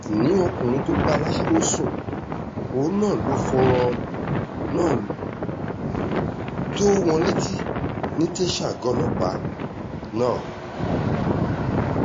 n ní ọkùnrin tó bá aláṣẹwọ́ sún ọ̀hún ná lọ́ọ́ fọ̀rọ̀ náà tó wọn létí ní tẹ̀sán ọlọ́pàá àgbègbè náà